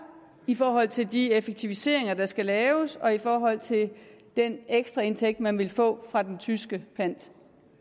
i forhold til de effektiviseringer der skal laves og i forhold til den ekstraindtægt man vil få fra den tyske pant